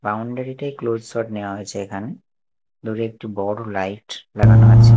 Boundary -টাই close shot নেওয়া হয়েছে এখানে দূরে একটি বড় লাইট লাগানো আছে।